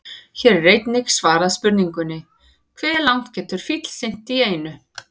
Hér er einnig svarað spurningunni: Hve langt getur fíll synt í einu?